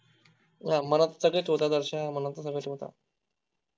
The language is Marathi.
मनात सगळे ठेवतात आरश्या मनात तर सगळे ठेवतात